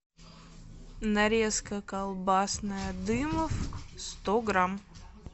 нарезка колбасная дымов сто грамм